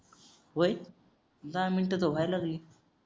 वय दहा मिनिटं धुवायला लागले रे